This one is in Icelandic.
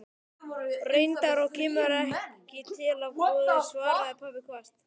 Reyndar, og kemur ekki til af góðu, svaraði pabbi hvasst.